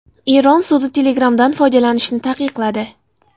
Eron sudi Telegram’dan foydalanishni taqiqladi.